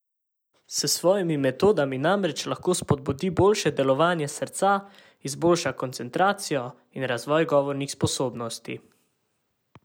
S svojimi metodami namreč lahko spodbudi boljše delovanje srca, izboljša koncentracijo in razvoj govornih sposobnosti.